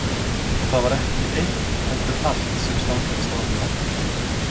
Og það var ekki eitt heldur allt sem stangaðist á við væntingar okkar.